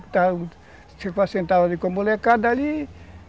Você sentava ali com a molecada ali.